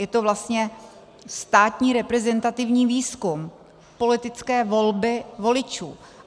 Je to vlastně státní reprezentativní výzkum politické volby voličů.